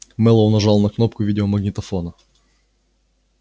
мэллоу нажал на кнопку видеомагнитофона